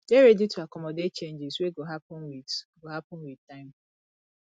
dey ready to accomodate changes wey go happen with go happen with time